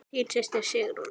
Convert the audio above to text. Þín systir Sigrún.